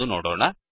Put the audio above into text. ಎಂದು ನೋಡೋಣ